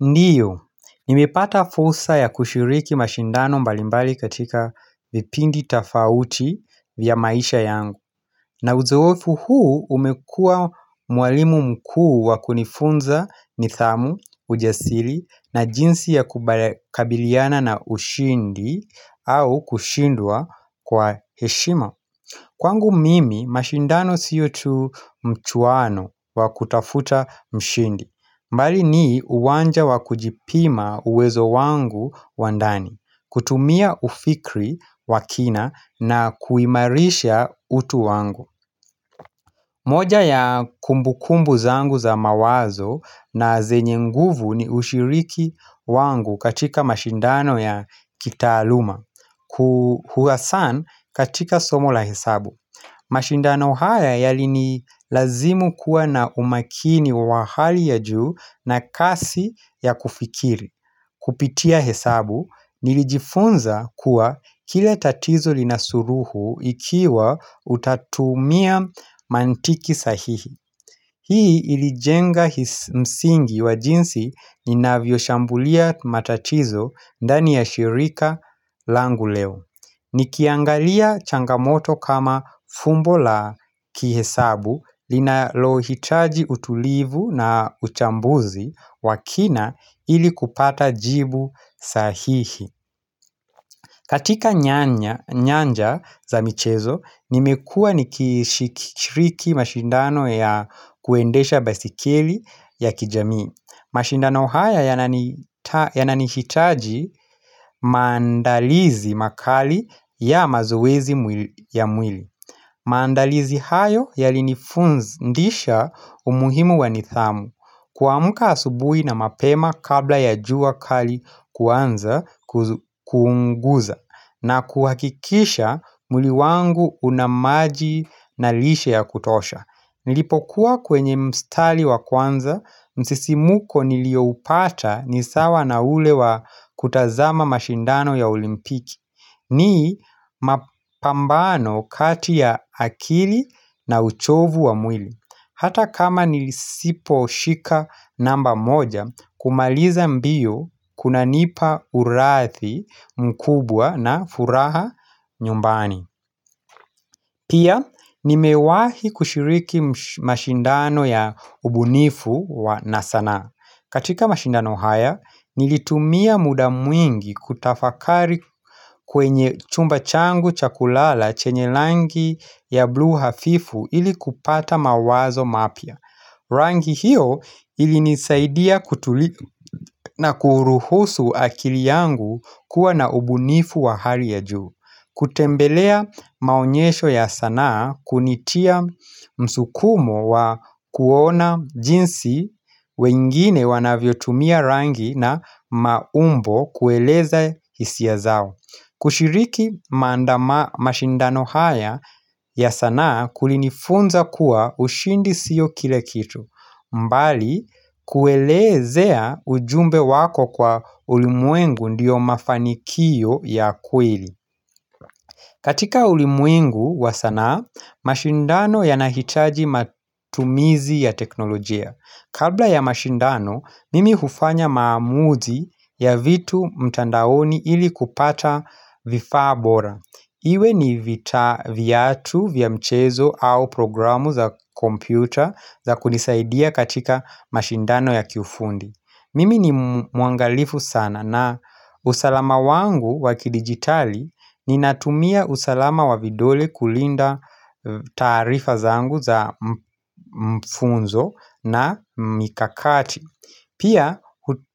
Ndiyo, nimepata fursa ya kushiriki mashindano mbalimbali katika vipindi tofauti vya maisha yangu na uzoefu huu umekua mwalimu mkuu wakunifunza ni thamu, ujasili na jinsi ya kubala kabiliana na ushindi au kushindwa kwa heshima Kwangu mimi, mashindano sio tu mchuano wa kutafuta mshindi. Mbali nii uwanja wa kujipima uwezo wangu wa ndani, kutumia ufikri wakina na kuimarisha utu wangu. Moja ya kumbukumbu zangu za mawazo na zenye nguvu ni ushiriki wangu katika mashindano ya kita aluma. Kuhuasan katika somo la hesabu. Mashindano haya yalini lazimu kuwa na umakini wa wahali ya juu na kasi ya kufikiri Kupitia hesabu nilijifunza kuwa kila tatizo linasuluhu ikiwa utatumia mantiki sahihi Hii ilijenga msingi wa jinsi nina vyoshambulia matatizo ndani ya shirika langu leo Nikiangalia changamoto kama fumbo la kihesabu linalo hitaji utulivu na uchambuzi wakina ili kupata jibu sahihi katika nyanja za michezo nimekuwa nikishiriki mashindano ya kuendesha basikili ya kijamii mashindano haya yanani hitaji maandalizi makali ya mazoezi ya mwili maandalizi hayo yali nifundisha umuhimu wanithamu kuamka asubui na mapema kabla ya jua kali kuanza kuunguza na kuhakikisha mwili wangu unamaji na lishe ya kutosha Nilipokuwa kwenye mstali wa kwanza, msisimuko nilio upata nisawa na ule wa kutazama mashindano ya olimpiki. Ni mapambano kati ya akili na uchovu wa mwili. Hata kama nilisipo shika namba moja, kumaliza mbio kuna nipa urathi mkubwa na furaha nyumbani. Pia, nimewahi kushiriki mashindano ya ubunifu na sana. Katika mashindano haya, nilitumia muda mwingi kutafakari kwenye chumba changu chakulala chenye langi ya blue hafifu ili kupata mawazo mapya. Rangi hiyo ilinisaidia na kuruhusu akili yangu kuwa na ubunifu wa hali ya juu kutembelea maonyesho ya sanaa kunitia msukumo wa kuona jinsi wengine wanavyo tumia rangi na maumbo kueleza hisia zao kushiriki maandama mashindano haya ya sanaa kulinifunza kuwa ushindi siyo kila kitu mbali kuelezea ujumbe wako kwa ulimwengu ndiyo mafanikio ya kweli katika ulimuengu wa sanaa, mashindano yanahitaji matumizi ya teknolojia Kabla ya mashindano, mimi hufanya maamuzi ya vitu mtandaoni ili kupata vifaa bora Iwe ni vita viatu vya mchezo au programu za kompyuta za kunisaidia katika mashindano ya kiufundi. Mimi ni mwangalifu sana na usalama wangu waki digitali ni natumia usalama wa vidole kulinda taarifa zangu za mfunzo na mikakati. Pia